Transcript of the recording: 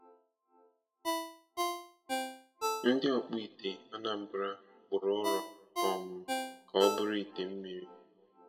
Ndị ọkpụite Anambra kpụrụ ụrọ um ka ọ bụrụ ite mmiri.